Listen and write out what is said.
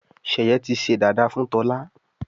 sheye tí sé dada fún Tola.